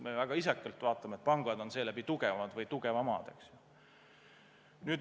Me väga isekalt vaatame, et pangad on seeläbi tugevad või tugevamad.